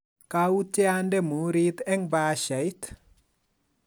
kautye ande muhurit eng bahashait